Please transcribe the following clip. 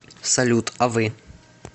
салют а вы